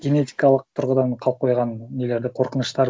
генетикалық тұрғыдан қалып қойған нелерді қорқыныштар